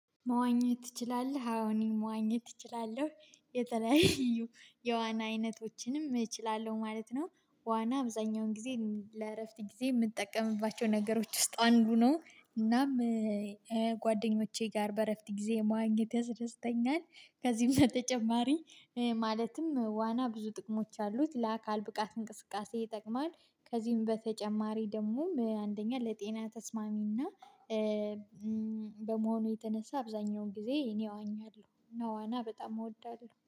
መዋኘት ትችላለህ? አዎ መዋኘት እችላለሁ የተለያዩ የዋና አይነቶችንም እችላለሁ ማለት ነው። ዋና አብዛኛውን ጊዜ ለእረፍት ጊዜ የምጠቀምባቸው ነገሮች ውስጥ አንዱ ነው። እናም ጓደኞቼ ጋር በእረፍት ጊዜ መዋኘት ያስደስተኛል። ከዚህም በተጨማሪ ማለትም ዋና ብዙ ጥቅሞች አሉት ለአካል ብቃት እንቅስቃሴ ይጠቅማል። ከዚህም በተጨማሪ ደግሞ አንደኛ ለጤና ተስማሚና በመሆኑ የተነሳ አብዛኛውን ጊዜ እኔ እዋኛለሁ እና ዋና በጣም እወዳለሁ